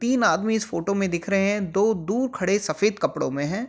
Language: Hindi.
तीन आदमी इस फोटो मे दिख रहे है दो दूर खड़े सफेद कपड़ों मे है ।